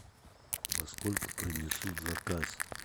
во сколько принесут заказ